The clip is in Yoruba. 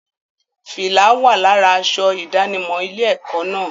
Fìlá wà lára aṣọ ìdánimọ̀ ilé-ẹ̀kọ́ náà.